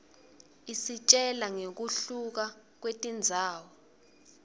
isitjela ngekuhluka kwetindzawo